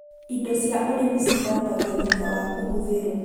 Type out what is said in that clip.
Indo cia ũrĩmi cithambagio thutha wa kũhũthĩrwo